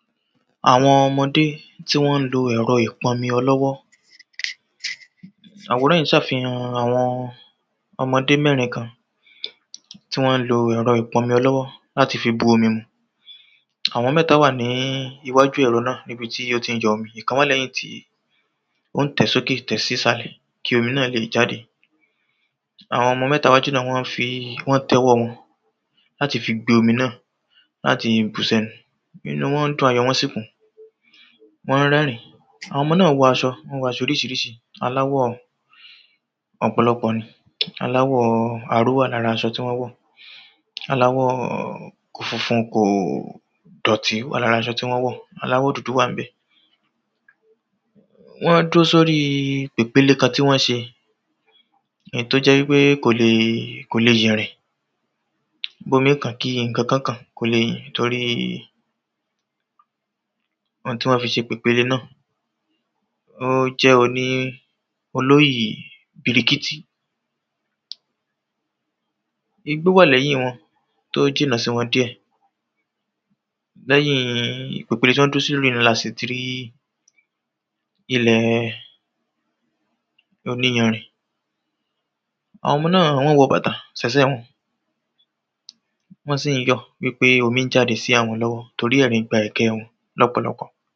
Àwọn ọmọdé tí wọ́n lo ẹ̀rọ ìpọnmi ọlọ́wọ́ Àwòrán yìí ṣàfihàn àwọn ọmọdé mẹ́rin kan tí wọ́n lo ẹ̀rọ ìpọnmi ọlọ́wọ́ láti fi bu omi mu Àwọn méta wà ní iwájú ẹ̀rọ náà níbi tí ó ti ń yọ omi Ìkan wà lẹ́yìn tí ó tẹ̀ẹ́ sókè tẹ̀ẹ́ sí sàlẹ̀ kí omi náà lè jáde Àwọn ọmọ méta iwájú náà wọ́n fii wọ́n tẹ́ ọwọ́ wọn láti fi gbé omi náà láti bùú sẹ́nu Inú wọn dùn ayọ̀ wọn sì kún Wọ́n ń rẹ́rìn Àwọn ọmọ náà wọ̀ aṣọ Wọ́n wọ aṣọ oríṣiríṣi aláwọ̀ ọ̀pọ̀lọpọ̀ ni aláwọ̀ aró wà lára aṣọ tí wọ́n wọ̀ Aláwọ̀ kò funfun kò dọ̀tí wà lára aṣọ tí wọ́n wọ̀ Aláwọ̀ dúdú wà ń bẹ̀ Wọ́n dúró sóri pèpele kan tí wọ́n ṣe èyí tí ó jẹ́ wípé kòlè kòlè yẹ̀rìn Bómí kàn kí ìkankan kàn kò lè tórí oun tí wọ́n fi ṣe pèpele náà ó jẹ́ oni olóyì birikítí Igbó wà lẹ́yìn wọn tó jìnà sí wọn díẹ̀ Lẹ́yìn pèpele tí wọ́n dúró sí náà la sì ti rí ilẹ̀ oníyanrìn Àwọn ọmọ náà wọ́n wọ bàtà sẹ́sẹ̀ wọn Wọ́n sì ń yọ̀ wípé omi ń jáde sí àwọn lọ́wó torí ẹ̀rín gba ẹ̀kẹ́ wọn lọ́pọ̀lọpọ̀